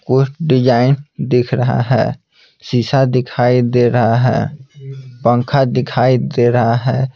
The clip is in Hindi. कुछ डिज़ाइन दिख रहा है शीशा दिखाई दे रहा है पंखा दिखाई दे रहा है।